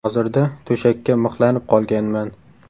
Hozirda to‘shakka mixlanib qolganman.